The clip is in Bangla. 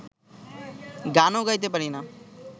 গানও গাইতে পারি না